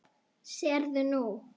Sérðu nú?